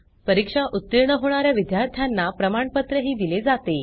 परीक्षा उत्तीर्ण होणा या विद्यार्थ्यांना प्रमाणपत्रही दिले जाते